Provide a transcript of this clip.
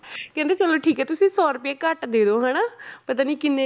ਕਹਿੰਦੇ ਚਲੋ ਠੀਕ ਹੈ ਤੁਸੀਂ ਸੌ ਰੁਪਇਆ ਘੱਟ ਦੇ ਦਓ ਹਨਾ ਪਤਾ ਨੀ ਕਿੰਨੇ